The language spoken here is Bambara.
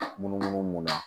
Munumunu mun na